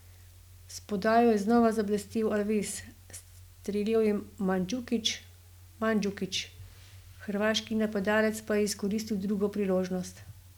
S podajo je znova zablestel Alves, streljal je Mandžukić, hrvaški napadalec pa je izkoristil drugo priložnost.